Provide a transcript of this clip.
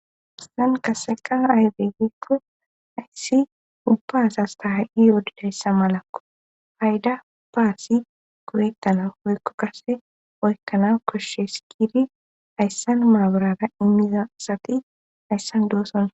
Hayssan qassekka aybe giikko ayssi ubba zasta hay7i yodidayssa malakko payda baasi koyettana hoykko kase oykkana koshshe sikidi ayssan maaburara immiza asati ayssan doosona.